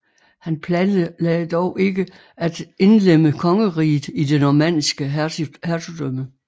Han planlagde dog ikke at indlemme kongeriget i det normanniske hertugdømme